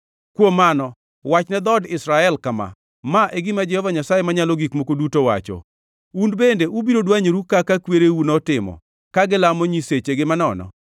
Kuom mano, wachne dhood Israel kama: Ma e gima Jehova Nyasaye Manyalo Gik Moko Duto wacho: Un bende ubiro dwanyoru kaka kwereu notimo ka gilamo nyisechegi manono?